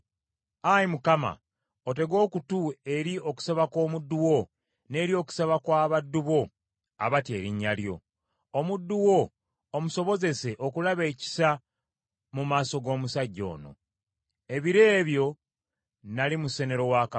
Ayi Mukama, otege okutu eri okusaba kw’omuddu wo n’eri okusaba kw’abaddu bo abatya erinnya lyo. Omuddu wo omusobozese okulaba ekisa mu maaso g’omusajja ono.” Ebiro ebyo nnali musenero wa kabaka.